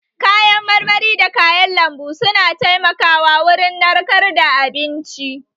Kayan marmari da kayan lambu su na taimaka wa wurin narkar da abinci